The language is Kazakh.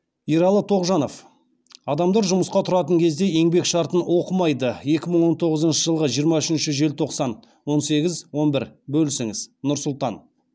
ералы тоғжанов адамдар жұмысқа тұратын кезде еңбек шартын оқымайды екі мың он тоғызыншы жылғы жиырма үшінші желтоқсан он сегіз он бір бөлісіңіз нұр сұлтан